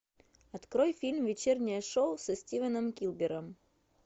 открой фильм вечернее шоу со стивеном килбером